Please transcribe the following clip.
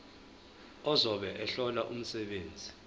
ozobe ehlola umsebenzi